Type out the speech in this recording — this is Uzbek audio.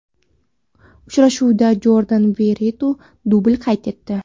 Uchrashuvda Jordan Veretu dubl qayd etdi.